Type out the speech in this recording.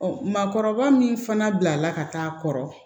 maakɔrɔba min fana bilala ka taa'a kɔrɔ